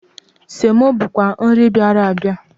Semo bụkwa nri bịara abịa.